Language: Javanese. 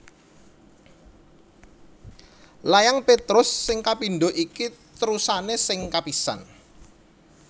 Layang Petrus sing kapindho iki terusané sing kapisan